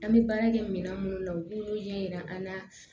An bɛ baara kɛ mina minnu na u k'ulu ɲɛ yira an na